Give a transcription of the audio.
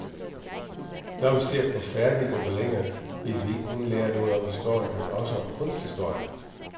Så når vi ser på færdige gobeliner, vil vi ikke kun lære noget om historien, men også om kunsthistorien.